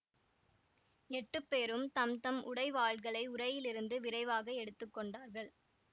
எட்டுப் பேரும் தம்தம் உடைவாள்களை உறையிலிருந்து விரைவாக எடுத்து கொண்டார்கள்